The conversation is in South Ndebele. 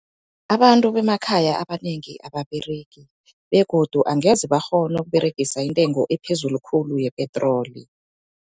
Abantu bemakhaya abanengi ababeregi begodu angeze bakghone ukuberegisa intengo ephezulu khulu yepetroli.